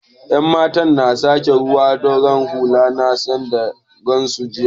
Yan matan na sake da ruwan ɗorawar huluna sanda na gansu jiya